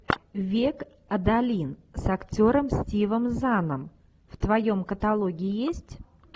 век адалин с актером стивом заном в твоем каталоге есть